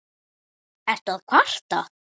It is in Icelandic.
Ertu að kvarta?